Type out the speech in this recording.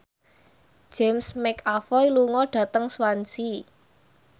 James McAvoy lunga dhateng Swansea